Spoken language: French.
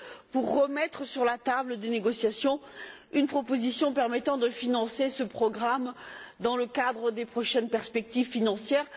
pour remettre sur la table des négociations une proposition permettant de financer ce programme dans le cadre des prochaines perspectives financières.